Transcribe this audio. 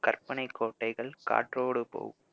கற்பனைக்கோட்டைகள் காற்றோடு போகும்